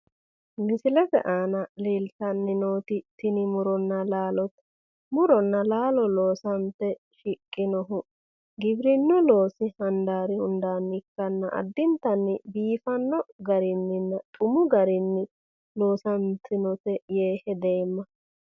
misilete aana leeltanni nooti tini muronna laalote muronna laalo loosante shiqqinohu giwirinnu loosi handaari hundaanni ikkanna addintanni biifanno garinninna xumu garinni loosantinote yee hedeemma.